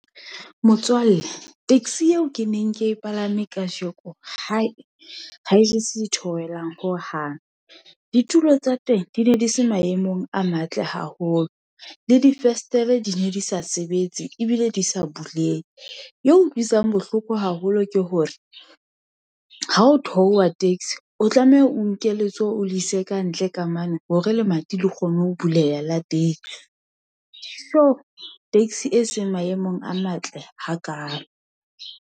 Motswalle taxi eo ke neng ke e palame kajeko hai, ha e je se theohelang ho hang. Ditulo tsa teng di ne di se maemong a matle haholo, le difestere di ne di sa sebetse, ebile di sa bulehe, ye utlwisang bohloko haholo ke hore, ha o theoha taxi o tlameha o nke letsoho o le ise kantle kamane, hore lemati le kgone ho buleha la teng. So taxi e seng maemong a matle hakalo.